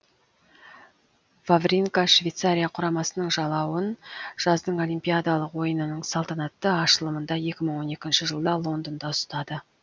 вавринка швейцария құрамасының жалауын жаздың олимпиадалық ойынының салтанатты ашылымында екі мың он екінші жылда лондонда ұстады